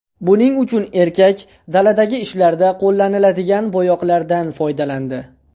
Buning uchun erkak daladagi ishlarda qo‘llaniladigan bo‘yoqlardan foydalandi.